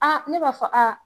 ne b'a fɔ